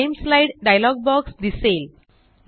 rename slide dialog box दिसेल